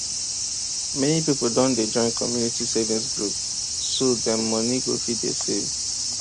many people don dey join community savings group so dem money go fit dey save